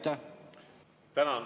Tänan!